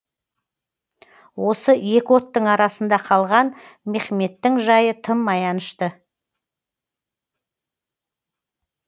осы екі оттың арасында қалған мехмедтің жайы тым аянышты